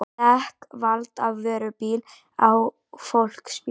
Dekk valt af vörubíl á fólksbíl